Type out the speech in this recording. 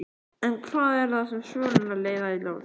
En hvað er það sem svölurnar leiða í ljós?